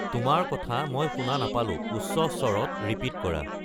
তোমাৰ কথা মই শুনা নাপালোঁ, উচ্চ স্ৱৰত ৰিপিট কৰা